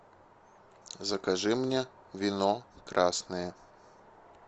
закажи мне вино красное